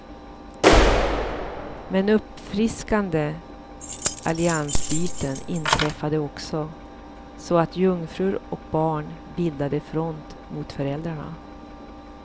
Men uppfriskande alliansbyten inträffade också, så att jungfrur och barn bildade front mot föräldrarna.